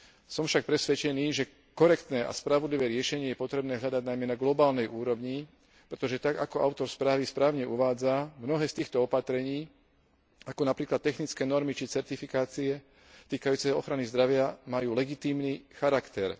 Som však presvedčený, že korektné a spravodlivé riešenie je potrebné hľadať najmä na globálnej úrovni, pretože tak, ako autor správy správne uvádza, mnohé z týchto opatrení, ako napríklad technické normy či certifikácie týkajúce sa ochrany zdravia, majú legitímny charakter.